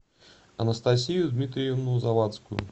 анастасию дмитриевну завадскую